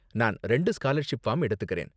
நான் ரெண்டு scholarship form எடுத்துக்கறேன்.